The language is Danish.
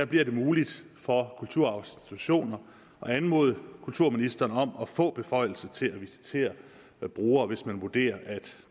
bliver det muligt for kulturarvsinstitutioner at anmode kulturministeren om at få beføjelser til at visitere brugere hvis man vurderer at